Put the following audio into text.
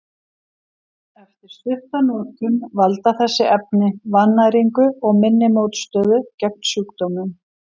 Eftir stutta notkun valda þessi efni vannæringu og minni mótstöðu gegn sjúkdómum.